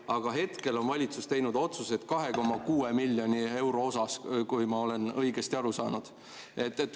Aga hetkel on valitsus teinud otsuse 2,6 miljoni euro kohta, kui ma olen õigesti aru saanud.